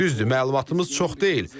Düzdür, məlumatımız çox deyil.